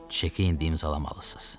Çeki indi imzalamalısınız.